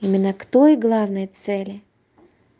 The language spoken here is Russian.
именно к той главной цели